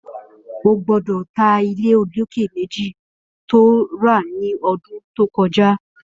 Ó gbọdọ tà ilé ólóké méji tó rà ni ọdún tókọjá